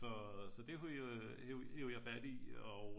Så det det hev jeg fat i og